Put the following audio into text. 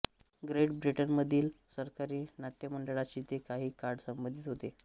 great ब्रिटनमधील सरकारी नाट्यमंडळाशी ते काही काळ संबंधित होते